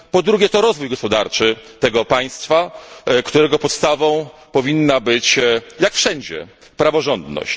po drugie, rozwój gospodarczy tego państwa, którego podstawą powinna być, jak wszędzie, praworządność.